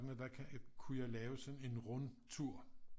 Der kunne jeg lave sådan en rundtur